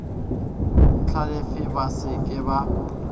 hlalefe ba se ke ba